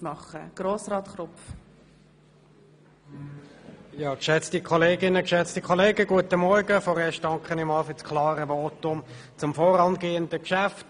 der BaK. Zuerst danke ich für das klare Votum zum vorangehenden Geschäft.